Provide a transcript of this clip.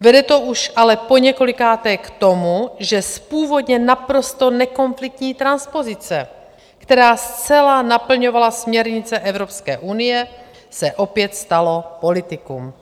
Vede to už ale poněkolikáté k tomu, že z původně naprosto nekonfliktní transpozice, která zcela naplňovala směrnice Evropské unie, se opět stalo politikum.